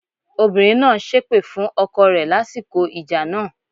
Obìnrin náà ń ṣépè fún ọkọ rẹ lásìkò ìjà náà.